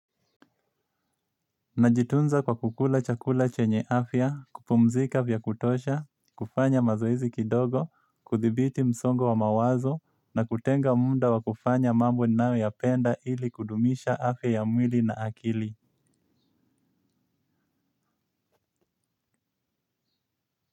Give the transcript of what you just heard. Najitunza kwa kukula chakula chenye afya, kupumzika vya kutosha, kufanya mazoezi kidogo, kuthibiti msongo wa mawazo na kutenga muda wa kufanya mambo ninayoyapenda ili kudumisha afya ya mwili na akili.